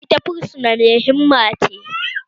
Ita fursuna mai himma ce